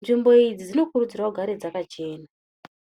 nzvimbo idzi dzino kuridzirwa kugare dzakachena.